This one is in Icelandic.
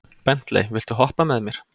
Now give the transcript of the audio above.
Bentley, viltu hoppa með mér?